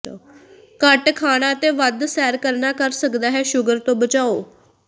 ਘੱਟ ਖਾਣਾ ਅਤੇ ਵੱਧ ਸੈਰ ਕਰਨਾ ਕਰ ਸਕਦਾ ਹੈ ਸ਼ੂਗਰ ਤੋਂ ਬਚਾਓ